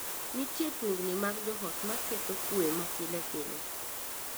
Nitie tungni mag joot ma ketho kwe ma pile pile.